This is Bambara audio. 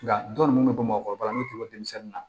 Nka dɔnni mun bɛ bɔ mɔgɔkɔrɔba la n'u tun bɛ denmisɛnnin na